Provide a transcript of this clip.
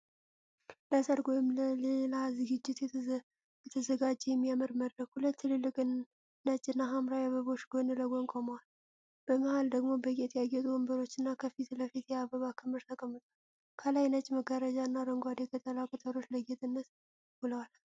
ለሠርግ ወይም ለሌላ ዝግጅት የተዘጋጀ የሚያምር መድረክ። ሁለት ትልልቅ ነጭ እና ሐምራዊ አበባዎች ጎን ለጎን ቆመዋል። በመሃል ደግሞ በጌጥ ያጌጡ ወንበሮችና ከፊት ለፊት የአበባ ክምር ተቀምጧል። ከላይ ነጭ መጋረጃና አረንጓዴ ቅጠላቅጠል ለጌጥነት ውለዋል።